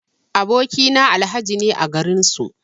Aboki na Alhaji ne a garin su.